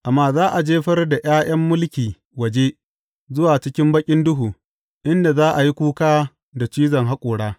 Amma za a jefar da ’ya’yan mulki waje, zuwa cikin baƙin duhu, inda za a yi kuka da cizon haƙora.